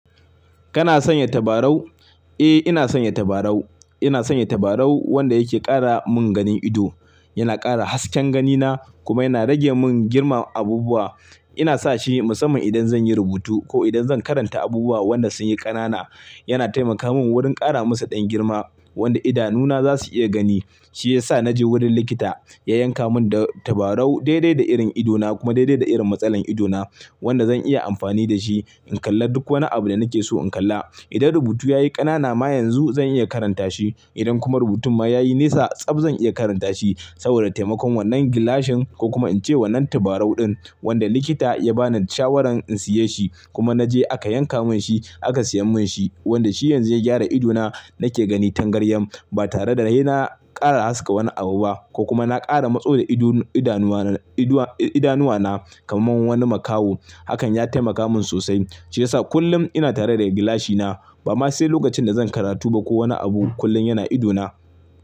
Kana sanya tabarau? Eh ina sanya tabarau. Ina sanya tabarau wanda yake ƙara mun ganin ido, yana ƙara hasken ganina kuma yana rage mun girman abubuwa. Ina sa shi musamman idan zan yi rubutu ko idan zan karanta abubuwa wanda sun yi ƙanana. Yana taimaka mun wurin ƙara musu ɗan girma wanda idanuwa na za su iya gani. Shi ya sa na je wurin likita ya yanka mun da tabarau daidai da irin idona kuma daidai da irin matsalar idona wanda zan iya amfani da shi in kalla duk wani abu da nake so in kalla. Idan rubutu ya yi ƙanana ma yanzu zan iya karanta shi. Idan kuma rubutun ma ya yi nesa tsab zan iya karanta shi saboda taimakon wannan gilashin ko kuma in ce wannan tabarau ɗin wanda likita ya bani shawaran in siye shi kuma na je aka yanka mun shi aka siya mun shi wanda shi yanzu ya gyara idona nake gani tangaryan ba tare da haina ƙara haska wani abu ba ko kuma na ƙara matso da idanuwa, idanuwa na kamar wani makaho. Hakan ya taimaka mun sosai shi ya sa kullum ina tare da gilashina ba ma sai lokacin da zan karatu ba ko wani abu kullum yana idona.